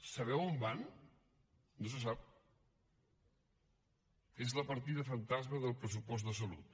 sabeu on van no se sap és la partida fantasma del pressupost de salut